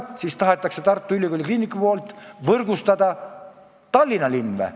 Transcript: Ja kas praegu tahab Tartu Ülikooli Kliinikum võrgustada ka Tallinna linna?